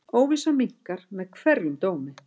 Óvissan minnkar með hverjum dómi.